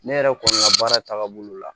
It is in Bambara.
Ne yɛrɛ kɔni ka baara taaga bolo la